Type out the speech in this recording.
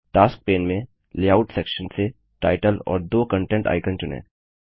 task pane में layout section से title और 2 कन्टेंट आइकन चुनें